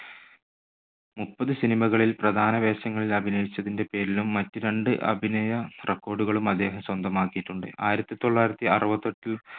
മുപ്പത് cinema കളിൽ പ്രധാന വേഷങ്ങളിൽ അഭിനയിച്ചതിന്റെ പേരിലും മറ്റ് രണ്ട് അഭിനയ record കളും അദ്ദേഹം സ്വന്തമാക്കിയിട്ടുണ്ട്. ആയിരത്തി തൊള്ളായിരത്തി അറുപത്തെട്ടിൽ